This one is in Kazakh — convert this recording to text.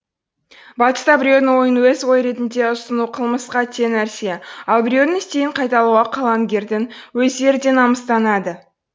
батыста біреудің ойын өз ойы ретінде ұсыну қылмысқа тең нәрсе ал біреудің стилін қайталауға қаламгердің өздері де намыстанады